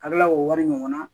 Ka kila k'o wari ɲɔgɔn na